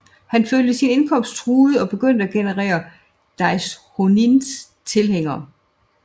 Han følte sin indkomst truet og begyndte at genere Daishonins tilhængere